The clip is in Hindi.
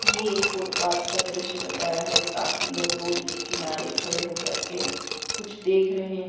ये एक फुटपाथ का दृश्य बताया है काफी लोग रोड के किनारे खड़े हो करके कुछ देख रहे हैं।